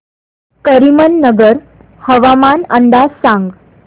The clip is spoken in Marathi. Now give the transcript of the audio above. करीमनगर हवामान अंदाज सांग